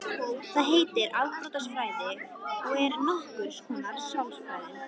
Það heitir afbrotafræði og er nokkurs konar sálfræði.